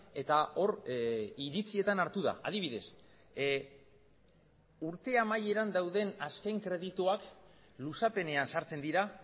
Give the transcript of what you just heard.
eta hor iritzietan hartu da adibidez urte amaieran dauden azken kredituak luzapenean sartzen dira